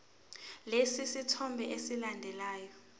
lesi sithombe esilandelayo